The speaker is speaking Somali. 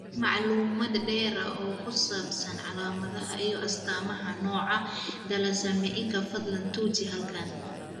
Macluumaad dheeri ah oo ku saabsan calaamadaha iyo astaamaha nooca thalassaemiaka, fadlan tuji halkan.